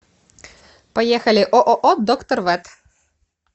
поехали ооо доктор вет